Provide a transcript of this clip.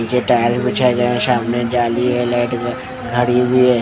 पीछे टाइल बिछाए गए है सामने जाली है लाइट घड़ी हुई है ।